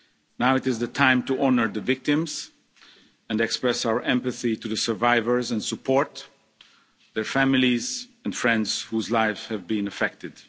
Now is the time to honour the victims and express our empathy to the survivors and support their families and friends whose lives have been affected.